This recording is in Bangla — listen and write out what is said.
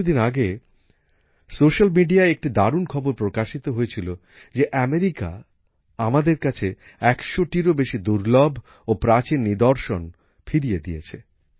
কিছু দিন আগে সোশ্যাল মিডিয়ায় একটি দারুণ খবর প্রকাশিত হয়েছিল যে আমেরিকা আমাদের কাছে ১০০টিরও বেশি দুর্লভ ও প্রাচীন নিদর্শন ফিরিয়ে দিয়েছে